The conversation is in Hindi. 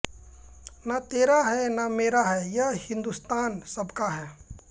न तेरा है न मेरा है ये हिन्दुस्तान सबका है